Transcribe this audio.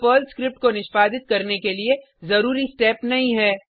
यह Perl script को निष्पादित करने के लिए जरुरी स्टेप नहीं है